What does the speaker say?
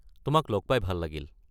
তোমাক লগ পাই ভাল লাগিল।